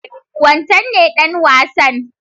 Wancen ne ɗan wasan?